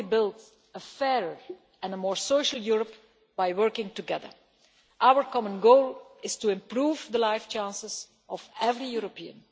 We can only build a fair and a more social Europe by working together. Our common goal is to improve the life chances of every European.